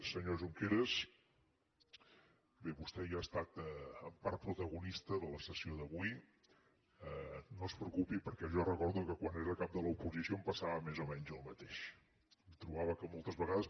senyor junqueras bé vostè ja ha estat en part protagonista de la sessió d’avui no es preocupi perquè jo recordo que quan era cap de l’oposició em passava més o menys el mateix em trobava que moltes vegades